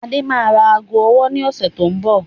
Adé máa ra aago ọwọ́ ni ọ̀sẹ̀ tó ń bọ̀